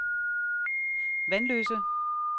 Vanløse